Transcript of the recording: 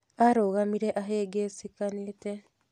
Arũgamire ahĩngicĩkanĩte.